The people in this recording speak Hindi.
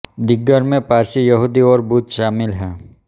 दिगर मैं पारसी यहूदी और बुध स़ामिल हैं